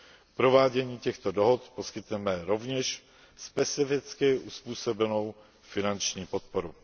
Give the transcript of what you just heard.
K provádění těchto dohod poskytneme rovněž specificky uzpůsobenou finanční podporu.